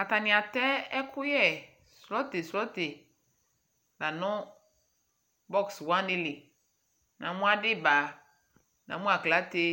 Atanɩ atɛ ɛkʋyɛ swɛtɩ swɛtɩ la nʋ bɔx wanɩ li Namʋ adɩba, namʋ aklate,